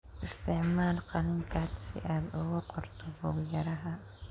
Isticmaal qalin khad si aad ugu qorto buug-yaraha.